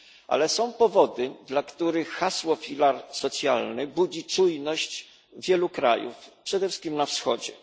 Ale są powody, dla których hasło filar socjalny budzi czujność wielu krajów, przede wszystkim na wschodzie.